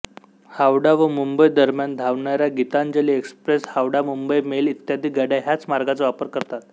हावडा व मुंबई दरम्यान धावणाऱ्या गीतांजली एक्सप्रेस हावडामुंबई मेल इत्यादी गाड्या ह्याच मार्गाचा वापर करतात